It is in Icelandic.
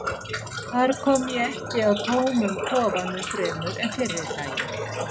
Þar kom ég ekki að tómum kofanum fremur en fyrri daginn.